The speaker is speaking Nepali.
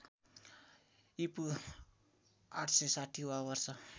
ईपू ८६० वा वर्ष